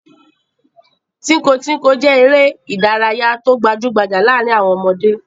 Tínko-tínko jẹ́ eré-idárayá tó gbajú-gbajà láàárin àwọn ọmọdé.